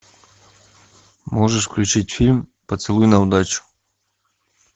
можешь включить фильм поцелуй на удачу